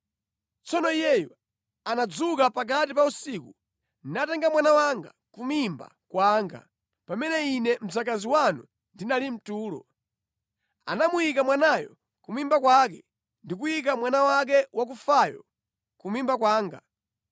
Tsono iyeyu anadzuka pakati pa usiku, natenga mwana wanga ku mimba kwanga pamene ine mdzakazi wanu ndinali mʼtulo. Anamuyika mwanayo ku mimba kwake ndi kuyika mwana wake wakufayo ku mimba kwanga.